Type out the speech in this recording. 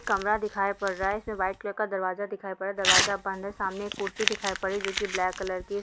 कमरा दिखाई पड़ रहा है जिसमे व्हाइट कलर का दरवाजा दिखाई पड़ रहा है। दरवाजा बंद है। सामने एक कुर्सी दिखाई पड़ रही है जो की ब्लैक कलर की--